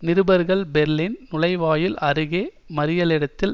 நிருபர்கள் பெர்லின் நுழைவாயில் அருகே மறியலிடத்தில்